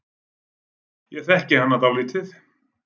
Ég þekki hana dálítið.